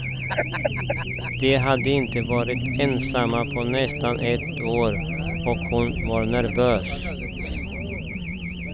De hade inte varit ensamma på nästan ett år och hon var nervös.